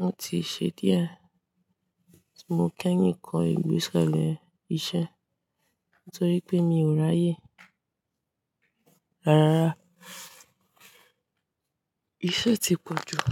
Wọ́n ti ṣe díẹ̀. Mo kẹ̀yin kó ìgbéselẹ̀ iṣẹ́ nítorí pé mi ò ráyè. Rárá, iṣẹ́ ti pọ̀ jù.